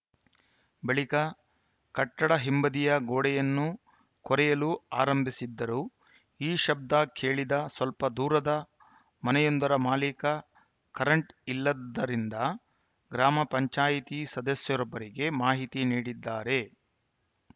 ಬಳಿಕ ಕಟ್ಟಡ ಹಿಂಬದಿಯ ಗೋಡೆಯನ್ನು ಕೊರೆಯಲು ಆರಂಭಿಸಿದ್ದರು ಈ ಶಬ್ದ ಕೇಳಿದ ಸ್ವಲ್ಪ ದೂರದ ಮನೆಯೊಂದರ ಮಾಲಿಕ ಕರೆಂಟ್‌ ಇಲ್ಲದ್ದರಿಂದ ಗ್ರಾಮ ಪಂಚಾಯಿತಿ ಸದಸ್ಯರೊಬ್ಬರಿಗೆ ಮಾಹಿತಿ ನೀಡಿದ್ದಾರೆ